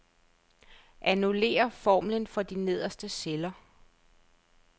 Annullér formlen for de nederste celler.